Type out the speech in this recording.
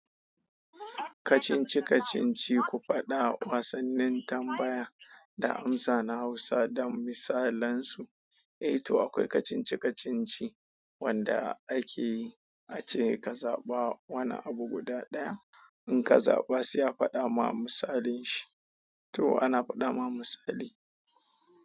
Kacinci-kacinci, ku faɗa wasannin tambaya da amsa na Hausa dan misalansu. Eh to akwai kacinci-kacinci wanda ake yi, ace ka zaɓa wani abu guda ɗaya. In ka zaɓa, se a faɗa ma misalin shi. To ana faɗa ma misali.